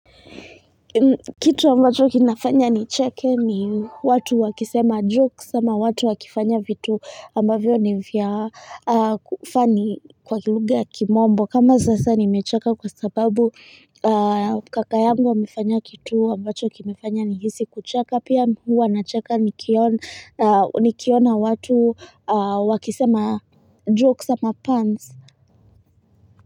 Kitu ambacho kinafanya nicheke ni watu wakisema joke sama watu wakifanya vitu ambavyo ni vya kufani kwa kilunga ya kimombo kama sasa nimechaka kwa sababu kaka yangu wamefanya kitu ambacho kimefanya nihisi kucheka pia huwa nachaka nikiona nikiona watu wakisema Joke sama pants.